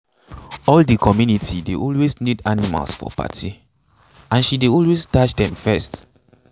all the community dey always need animals for party and she dey always dash them first.